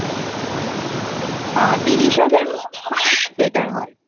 আ তিরিশ হাজার মতো হলেই Better হয়